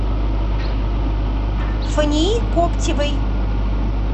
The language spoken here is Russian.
фании коптевой